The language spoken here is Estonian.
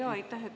Aitäh!